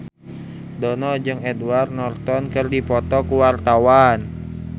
Dono jeung Edward Norton keur dipoto ku wartawan